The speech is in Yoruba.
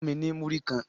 Fun mi ni muri kan